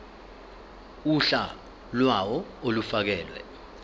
uhla lawo olufakelwe